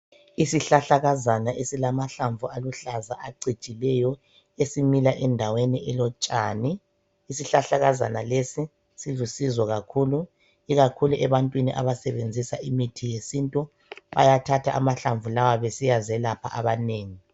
Isihlahlakazana esilamahlamvu aluhlaza acijileyo, esimila endaweni elotshani. Isihlahlakazana lesi silusizo kakhulu. Ikakhulu ebantwini abasebenzisa imithi yesintu, bayathatha amahlamvu lawa besiya zelapha abanengi.